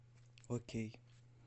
окей